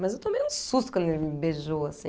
Mas eu tomei um susto quando ele me beijou, assim.